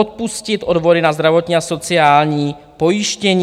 Odpustit odvody na zdravotní a sociální pojištění.